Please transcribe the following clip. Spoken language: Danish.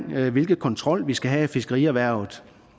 hvilken kontrol vi skal have af fiskerierhvervet